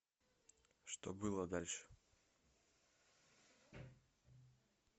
что было дальше